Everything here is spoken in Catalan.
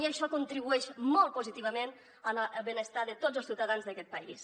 i això contribueix molt positivament en el benestar de tots els ciutadans d’aquest país